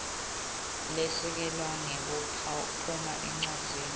lesekelwe ngekucaphuna encwadzini